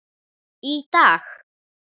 Í dag.